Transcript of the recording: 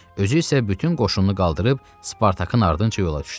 Özü isə bütün qoşununu qaldırıb Spartakın ardınca yola düşdü.